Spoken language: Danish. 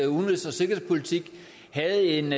udenrigs og sikkerhedspolitik havde en